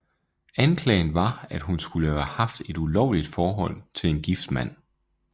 Anklagen var at hun skulle have haft et ulovligt forhold til en gift mand